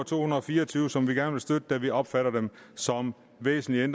to hundrede og fire og tyve som vi gerne vil støtte da vi opfatter dem som væsentligt